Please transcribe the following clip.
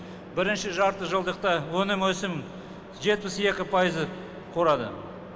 бірінші жартыжылдықта өнім өсім жетпіс екі пайызды құрады